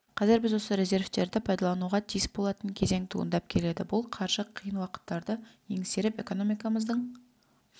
қазір біз осы резервтерді пайдалануға тиіс болатын кезең туындап келеді бұл қаржы қиын уақыттарды еңсеріп экономикамыздың